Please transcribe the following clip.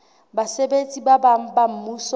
basebetsi ba bang ba mmuso